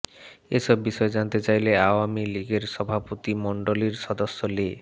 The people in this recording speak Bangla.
এসব বিষয়ে জানতে চাইলে আওয়ামী লীগের সভাপতিমণ্ডলীর সদস্য লে